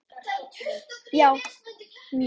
Já, mjög.